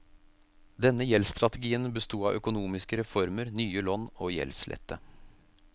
Denne gjeldsstrategien bestod av økonomiske reformer, nye lån, og gjeldslette.